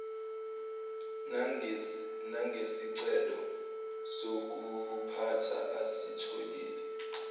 nangesicelo sokuphutha asitholile